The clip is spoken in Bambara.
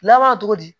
Laban cogo di